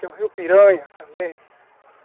Tem o rio Piranha também.